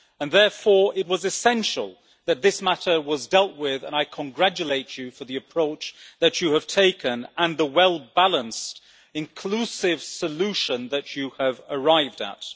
Therefore, it was essential that this matter was dealt with, and I congratulate you for the approach that you have taken and the well balanced inclusive solution that you have arrived at.